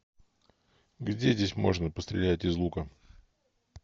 где здесь можно пострелять из лука